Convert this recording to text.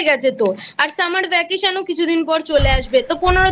গেছে তোর। আর Summer vacation ও কিছুদিন বাদেই চলে আসবে। তা